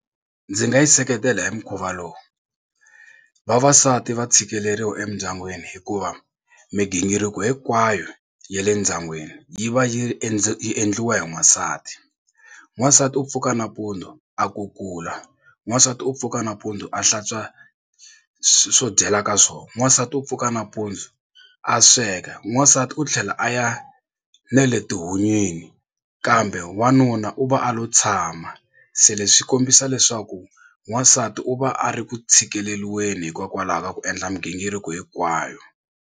Ndzi nga yi seketela hi mukhuva lowu vavasati va tshikeleriwa emindyangwini hikuva migingiriko hinkwayo ya le ndyangwini yi va yi endla yi endliwa hi n'wansati. N'wansati u pfuka nampundzu a kukula n'wansati u pfuka nampundzu a hlantswa swo dyela ka swona n'wansati u pfuka nampundzu a sweka n'wansati u tlhela a ya ne le etihunyini kambe wanuna u va a lo tshama se leswi swi kombisa leswaku wansati u va a ri ku tshikeleriwa hikokwalaho ka ku endla migingiriko hinkwayo.